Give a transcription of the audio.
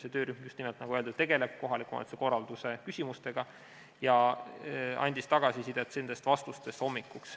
See töörühm just nimelt, nagu öeldud, tegeleb kohaliku omavalitsuse korralduse küsimustega ja andis tagasisidet hommikuks.